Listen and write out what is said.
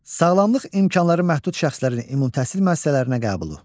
Sağlamlıq imkanları məhdud şəxslərin ümumi təhsil müəssisələrinə qəbulu.